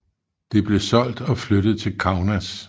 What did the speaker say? Det blev solgt og flyttet til Kaunas